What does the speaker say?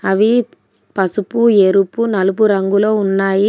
అవి పసుపు ఎరుపు నలుపు రంగులో ఉన్నాయి.